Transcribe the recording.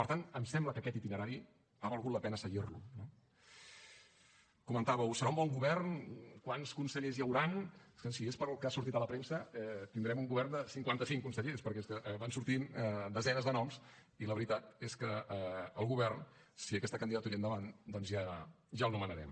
per tant em sembla que aquest itinerari ha valgut la pena seguir lo no comentàveu serà un bon govern quants consellers hi hauran escolti si és pel que ha sortit a la premsa tindrem un govern de cinquanta cinc consellers perquè és que van sortint desenes de noms i la veritat és que el govern si aquesta candidatura tira endavant doncs ja el nomenarem